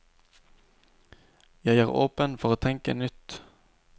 Jeg er åpen for å tenke nytt.